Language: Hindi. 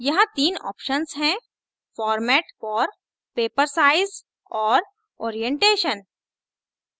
यहाँ तीन options हैंformat for paper size और orientation